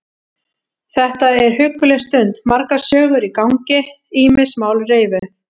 Þetta er hugguleg stund, margar sögur í gangi, ýmis mál reifuð.